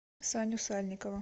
саню сальникова